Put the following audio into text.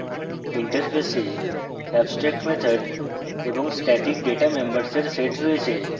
interface abstract methods এবং static data members এর set রয়েছে